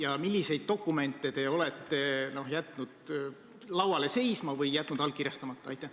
Ja milliseid dokumente te olete jätnud lauale seisma või jätnud allkirjastamata?